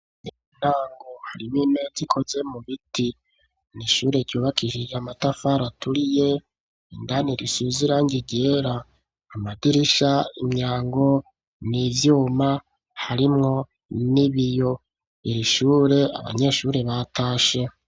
Intango harimwo imeza ikoze mu biti n'ishure ryubakishije amatafari aturiye indani risize irangi ryera amadirisha imyango n'ivyuma harimwo n'ibiyo iri ishure abanyeshuri batashe.